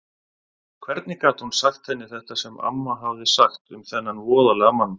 Hvernig gat hún sagt henni þetta sem amma hafði sagt um þennan voðalega mann?